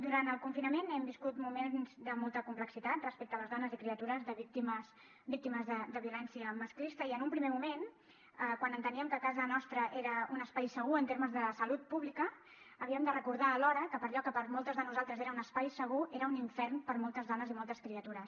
durant el confinament hem viscut moments de molta complexitat respecte a les dones i criatures víctimes de violència masclista i en un primer moment quan enteníem que casa nostra era un espai segur en termes de salut pública havíem de recordar alhora que allò que per a moltes de nosaltres era un espai segur era un infern per a moltes dones i moltes criatures